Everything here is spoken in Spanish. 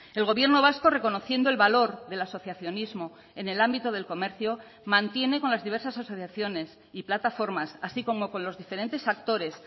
el gobierno vasco reconociendo el valor del asociacionismo en el ámbito del comercio mantiene con las diversas asociaciones y plataformas así como con los diferentes actores